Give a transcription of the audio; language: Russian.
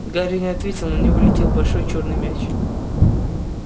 гарри не ответил на него летел большой чёрный мяч